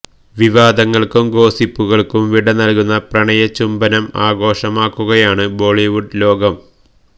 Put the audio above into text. വിവാദങ്ങൾക്കും ഗോസിപ്പുകൾക്കും വിട നല്കുന്ന പ്രണയ ചുംബനം ആഘോഷമാക്കുകയാണ് ബോളിവുഡ് ലോകം